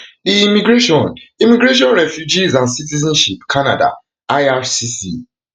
di immigration immigration refugees and citizenship canada ircc